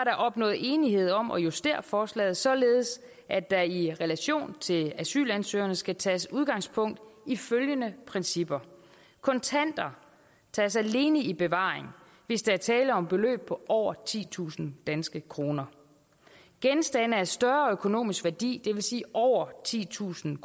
opnået enighed om at justere forslaget således at der i relation til asylansøgerne skal tages udgangspunkt i følgende principper kontanter tages alene i bevaring hvis der er tale om beløb på over titusind danske kroner genstande af større økonomisk værdi det vil sige over titusind